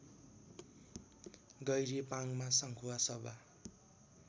गैरी पाङमा संखुवासभा